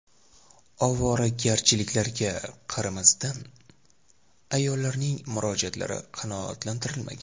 Ovoragarchiliklarga qaramasdan, ayollarning murojaatlari qanoatlantirilmagan.